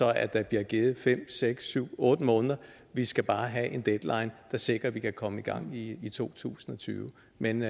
at der bliver givet fem seks syv otte måneder vi skal bare have en deadline der sikrer at vi kan komme i gang i to tusind og tyve men